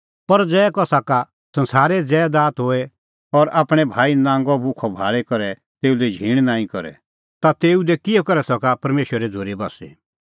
पर ज़ै कसा का संसारे ज़ैदात होए और आपणैं भाई नांगअ भुखअ भाल़ी करै तेऊ लै झींण नांईं करे ता तेऊ दी किहअ करै सका परमेशरे झ़ूरी बस्सी